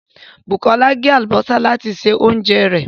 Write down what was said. Bukola gé àlùbọ́sà láti se oúnjẹ rẹ̀